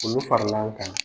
Olu farala an kan.